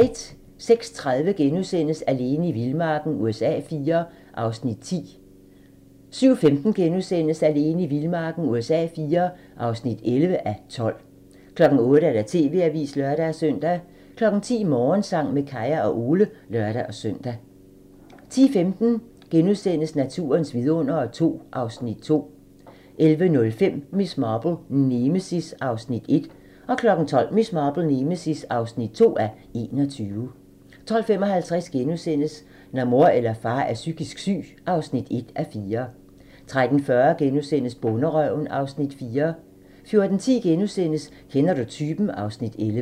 06:30: Alene i vildmarken USA IV (10:12)* 07:15: Alene i vildmarken USA IV (11:12)* 08:00: TV-avisen (lør-søn) 10:00: Morgensang med Kaya og Ole (lør-søn) 10:15: Naturens vidundere II (Afs. 2)* 11:05: Miss Marple: Nemesis (1:21) 12:00: Miss Marple: Nemesis (2:21) 12:55: Når mor eller far er psykisk syg (1:4)* 13:40: Bonderøven (Afs. 4)* 14:10: Kender du typen? (Afs. 11)*